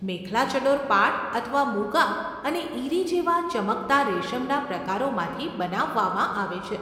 મેખલા ચડોર પાટ અથવા મુગા અને ઈરી જેવા ચમકતા રેશમના પ્રકારોમાંથી બનાવવામાં આવે છે.